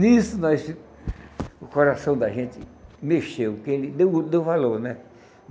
Nisso nós, o coração da gente mexeu, porque ele deu o deu valor, né?